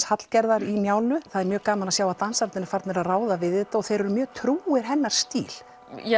Hallgerðar í Njálu það er mjög gaman að sjá að dansararnir eru farnir að ráða við þetta og þeir eru mjög trúir hennar stíl